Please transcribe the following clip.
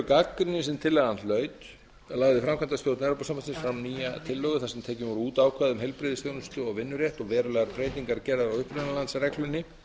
gagnrýni sem tillagan hlaut lagði framkvæmdastjórnin fram nýja tillögu þar sem tekin voru út ákvæði um heilbrigðisþjónustu og vinnurétt og verulegar breytingar gerðar á upprunalandsreglunni